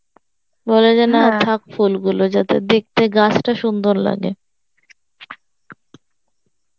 বলে যে থাক ফুল গুলো যাতে দেখতে গাছটা সুন্দর লাগে